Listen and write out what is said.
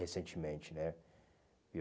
Recentemente, né? Viu